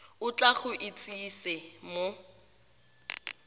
o tla go itsise mo